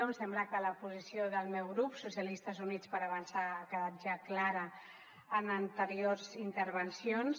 em sembla que la posició del meu grup socialistes i units per avançar ha quedat ja clara en anteriors intervencions